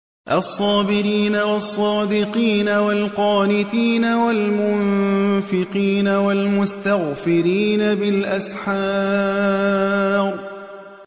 الصَّابِرِينَ وَالصَّادِقِينَ وَالْقَانِتِينَ وَالْمُنفِقِينَ وَالْمُسْتَغْفِرِينَ بِالْأَسْحَارِ